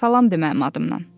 Salam de mənim adımdan.